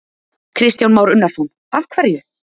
Kristján Már Unnarsson: Af hverju?